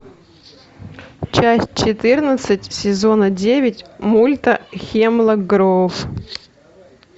часть четырнадцать сезона девять мульта хемлок гроув